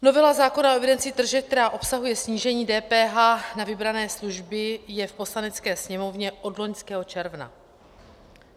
Novela zákona o evidenci tržeb, která obsahuje snížení DPH na vybrané služby, je v Poslanecké sněmovně od loňského června.